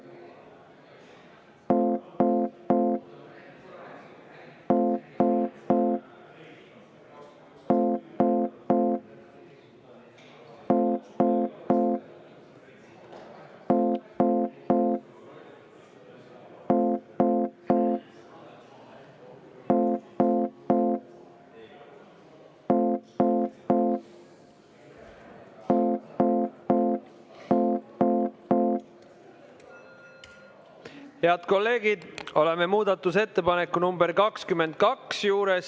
Head kolleegid, oleme muudatusettepaneku nr 22 juures.